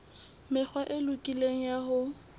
mekgwa e lokileng ya ho